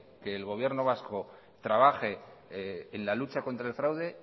que el gobierno vasco trabaje en la lucha contra el fraude